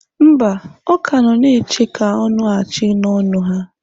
Mba, ọ ka nọ na-eche ka ọ nụghachi n'ọnụ ha.